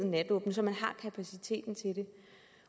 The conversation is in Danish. natåbent så man har kapaciteten til det